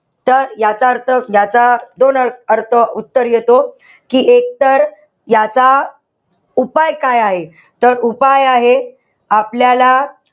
तर याचा अर्थ, त्याचा दोन अर्थ उत्तर येतो. कि एक तर याचा उपाय काय आहे. तर उपाय आहे. आपल्याला,